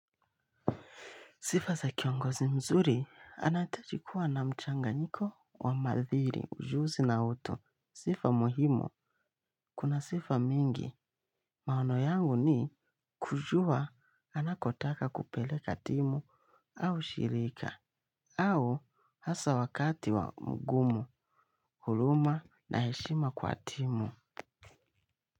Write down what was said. Sifa za kiongozi mzuri anaitaji kuwa na mchanga nyiko wa madhiri ujuzi na utu. Sifa muhimu. Kuna sifa mingi. Maono yangu ni kujua anakotaka kupeleka timu au shirika au hasa wakati wa mgumu, huluma na heshima kwa timu.